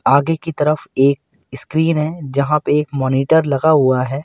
आगे की तरफ एक स्क्रीन है जहां पे एक मॉनिटर लगा हुआ है।